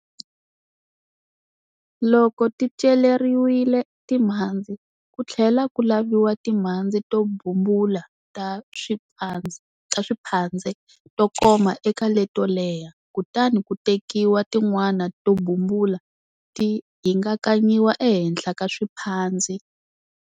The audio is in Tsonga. Loko ti celeriwile timhandzi, ku tlhela ku laviwa timhandzi to bumbula ta swiphandze to koma eka leto leha. Kutani ku tekiwa tin'wana to bumbula, ti hingakanyiwa ehenhla ka swiphandzi.